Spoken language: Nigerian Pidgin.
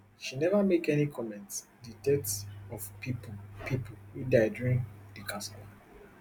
she neva make any comment di death of pipo pipo wey die during di kasala